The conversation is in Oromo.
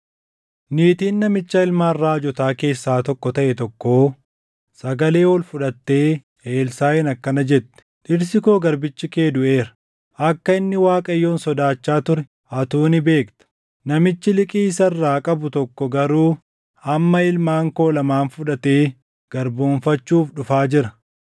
Niitiin namicha ilmaan raajotaa keessaa tokko taʼe tokkoo sagalee ol fudhattee Elsaaʼiin akkana jette; “Dhirsi koo garbichi kee duʼeera; akka inni Waaqayyoon sodaachaa ture atuu ni beekta. Namichi liqii isa irraa qabu tokko garuu amma ilmaan koo lamaan fudhatee garboomfachuuf dhufaa jira.”